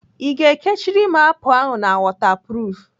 I ga-ekechiri m apụl ahụ na wọtapruf?